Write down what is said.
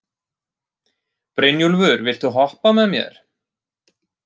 Brynjúlfur, viltu hoppa með mér?